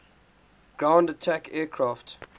ground attack aircraft